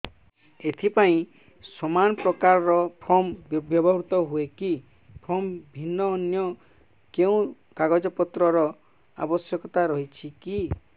ଏଥିପାଇଁ ସମାନପ୍ରକାର ଫର୍ମ ବ୍ୟବହୃତ ହୂଏକି ଫର୍ମ ଭିନ୍ନ ଅନ୍ୟ କେଉଁ କାଗଜପତ୍ରର ଆବଶ୍ୟକତା ରହିଛିକି